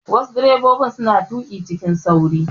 Wasu direbobin suna tuƙi cikin sauri.